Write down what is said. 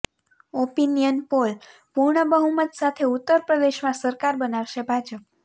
opinion poll પૂર્ણ બહુમત સાથે ઉત્તર પ્રદેશમાં સરકાર બનાવશે ભાજપ